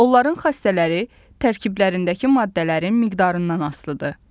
Onların xassələri tərkiblərindəki maddələrin miqdarından asılıdır.